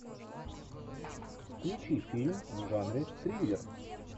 включи фильм в жанре триллер